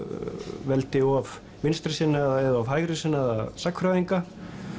veldi of vinstrisinnaða eða of hægrisinnaða sagnfræðinga